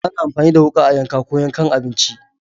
Ana amfani da wuka a yanka ko yankan abinci.